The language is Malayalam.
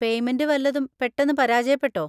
പേയ്മെന്റ് വല്ലതും പെട്ടെന്ന് പരാജയപ്പെട്ടോ?